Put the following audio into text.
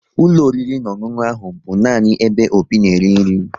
Ụlọ oriri na ọṅụṅụ ahụ bụ nani ebe Obi na-eri nri